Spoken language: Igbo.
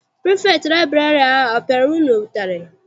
Pirifektị liburary ahụ a piara unu ụtarị?